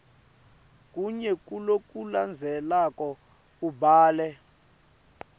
kunye kulokulandzelako ubhale